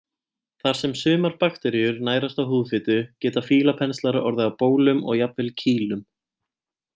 Þar sem sumar bakteríur nærast á húðfitu geta fílapenslar orðið að bólum og jafnvel kýlum.